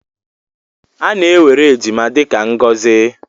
A na-ewere ejima dị ka ngọzi.